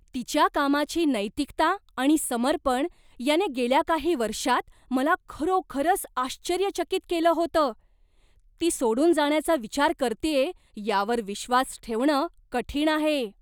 तिच्या कामाची नैतिकता आणि समर्पण याने गेल्या काही वर्षांत मला खरोखरच आश्चर्यचकित केलं होतं, ती सोडून जाण्याचा विचार करतेय यावर विश्वास ठेवणं कठीण आहे.